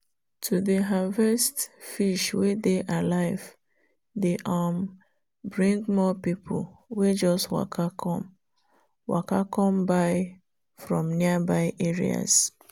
to dey harvest wey dey alive dey um bring more people wey just waka come waka come buy from nearby areas.